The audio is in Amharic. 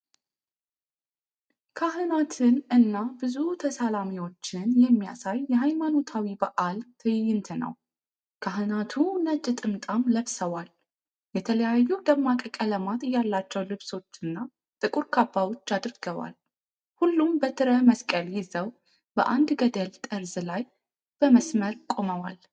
ካህናትን እና ብዙ ተሳላሚዎችን የሚያሳይ የሃይማኖታዊ በዓል ትዕይንት ነው። ካህናቱ ነጭ ጥምጣም ለብሰዋል፤ የተለያዩ ደማቅ ቀለማት ያላቸው ልብሶችና ጥቁር ካባዎች አድርገዋል። ሁሉም በትረ መስቀል ይዘው በአንድ ገደል ጠርዝ ላይ በመስመር ቆመዋል።